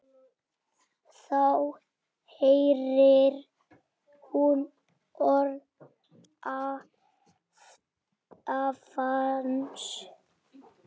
Þá heyrir hún orð afans.